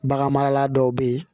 Bagan marala dɔw bɛ yen